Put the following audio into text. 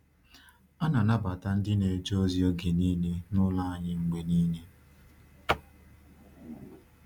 A na-anabata ndị na-eje ozi oge niile n’ụlọ anyị mgbe niile.